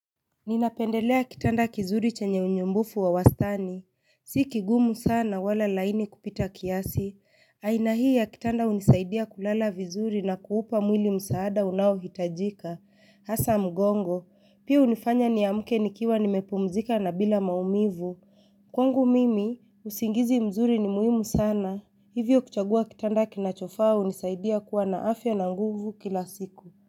Ninapendelea kitanda kizuri chenye unyumbufu wa wastani, si kigumu sana wala laini kupita kiasi, aina hii ya kitanda unisaidia kulala vizuri na kuupa mwili msaada unao hitajika, hasa mgongo, pia unifanya ni amuke nikiwa nimepumzika na bila maumivu Kwangu mimi, usingizi mzuri ni muhimu sana, hivyo kuchagua kitanda kinachofaa unisaidia kuwa na afya na nguvu kila siku.